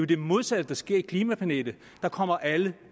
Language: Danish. det modsatte der sker i klimapanelet der kommer alle